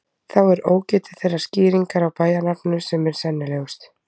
Þá er ógetið þeirrar skýringar á bæjarnafninu sem er sennilegust.